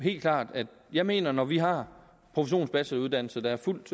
helt klart at jeg mener at når vi har professionsbacheloruddannelser der er fuldt